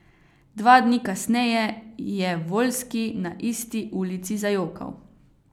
Dva dni kasneje je Voljski na isti ulici zajokal.